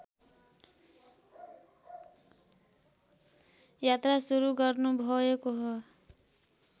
यात्रा सुरु गर्नुभएको हो